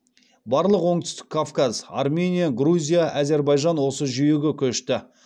барлық оңтүстік кавказ армения грузия әзербайжан осы жүйеге көшті